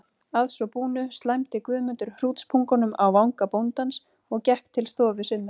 Að svo búnu slæmdi Guðmundur hrútspungnum á vanga bóndans og gekk til stofu sinnar.